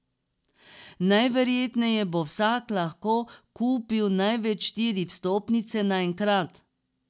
Najverjetneje bo vsak lahko kupil največ štiri vstopnice na enkrat.